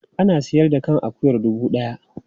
Ana sayar da kan akuyar dubu ɗaya.